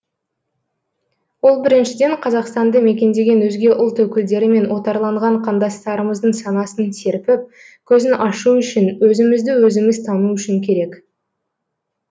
ол біріншіден қазақстанды мекендеген өзге ұлт өкілдері мен отарланған қандастарымыздың санасын серпіп көзін ашу үшін өзімізді өзіміз тану үшін керек